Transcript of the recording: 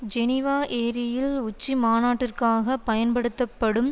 Geneva ஏரியில் உச்சி மாநாட்டிற்காக பயன்படுத்தப்படும்